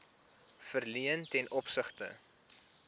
verleen ten opsigte